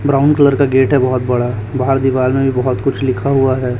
Brown colour का gate है बहोत बड़ा बाहर दीवाल में भी बहोत कुछ लिखा हुआ है।